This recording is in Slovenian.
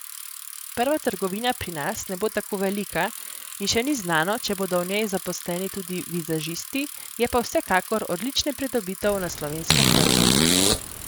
Prva trgovina pri nas ne bo tako velika in še ni znano, če bodo v njej zaposleni tudi vizažisti, je pa vsekakor odlična pridobitev na slovenskem trgu.